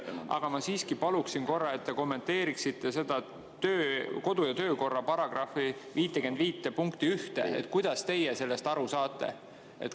Aga ma siiski palun korra, et te kommenteeriksite kodu‑ ja töökorra § 55 punkti 1, nii kuidas teie sellest aru saate.